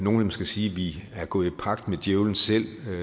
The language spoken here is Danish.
måske sige at vi er gået i pagt med djævlen selv